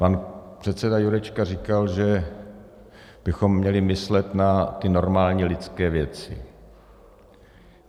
Pan předseda Jurečka říkal, že bychom měli myslet na ty normální lidské věci.